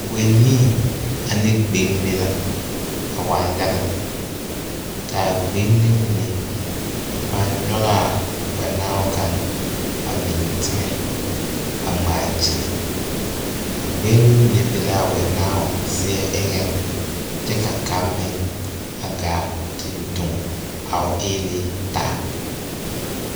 Wɛnii ane gbɛŋme la a waa yaga lɛ ka gbɔŋme mine a pãã nyɔge a wɛnaabo kaŋa a biŋ teŋɛ a ŋmaa gyili a gbɛŋme be la a wɛnaabo seɛ eŋɛ kyɛ ka kaŋa meŋ a gaa te doŋ a eele taa.